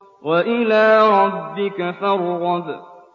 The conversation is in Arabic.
وَإِلَىٰ رَبِّكَ فَارْغَب